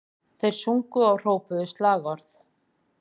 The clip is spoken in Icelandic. Þeir sungu og hrópuðu slagorð